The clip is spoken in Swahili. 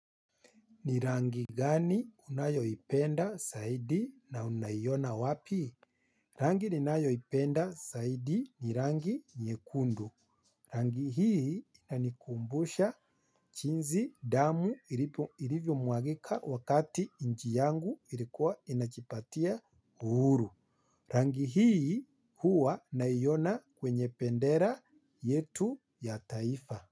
Ni rangi gani unayoipenda zaidi na unaiona wapi? Rangi ninayoipenda zaidi ni rangi nyekundu. Rangi hii inanikumbusha jinsi damu ilivyomwagika wakati nchi yangu ilikuwa inajipatia uhuru. Rangi hii huwa naiona kwenye bendera yetu ya taifa.